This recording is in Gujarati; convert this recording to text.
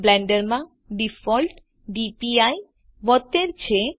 બ્લેન્ડર માં ડિફૉલ્ટ ડીપીઆઇ 72 છે